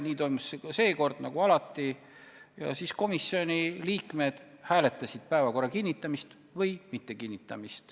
Nii toimus ka seekord, nagu alati, ja siis komisjoni liikmed hääletasid, kas päevakord kinnitada või mitte.